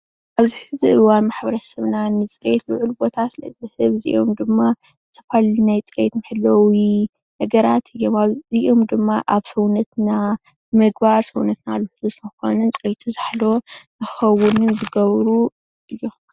ኣብዚ ሕዚ እዋን ማሕበረሰብና ቡዙሕ ጊዜ ንማሕበረሰብና ንፅሬት ንክንሕሉ ዘገልጉሉና እዮም።